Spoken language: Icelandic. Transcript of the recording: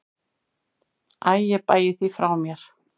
Æ ég bægi því frá mér.